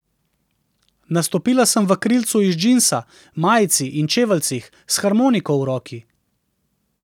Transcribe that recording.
Nastopila sem v krilcu iz džinsa, majici in čeveljcih, s harmoniko v roki.